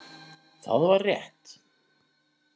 Það var rétt.